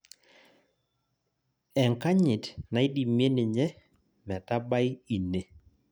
Enkanyit naidimie ninye metabai ine